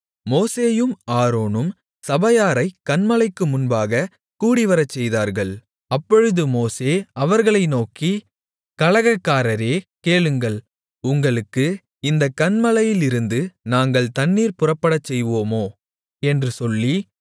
மோசேயும் ஆரோனும் சபையாரைக் கன்மலைக்கு முன்பாகக் கூடிவரச்செய்தார்கள் அப்பொழுது மோசே அவர்களை நோக்கி கலகக்காரரே கேளுங்கள் உங்களுக்கு இந்தக் கன்மலையிலிருந்து நாங்கள் தண்ணீர் புறப்படச்செய்வோமோ என்று சொல்லி